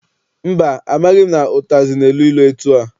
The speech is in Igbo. Mba, amaghị m na ụtazị na-elu ilu etua.